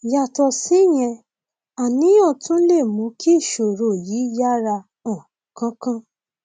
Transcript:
yàtọ síyẹn àníyàn tún lè mú kí ìṣòro yìí yára um kánkán